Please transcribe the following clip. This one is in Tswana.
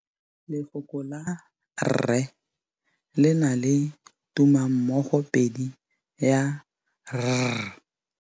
Lefoko la rre le na le tumammogôpedi ya, r.